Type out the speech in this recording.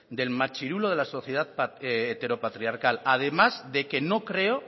del machirulo de la sociedad heteropatriarcal además de que no creo